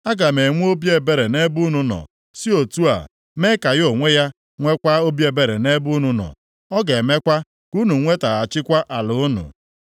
Aga m enwe obi ebere nʼebe unu nọ, si otu a mee ka ya onwe ya nweekwa obi ebere nʼebe unu nọ. Ọ ga-emekwa ka unu nwetaghachikwa ala unu.’